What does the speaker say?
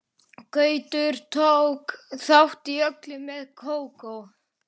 Gaukur tók þátt í öllu með Kókó.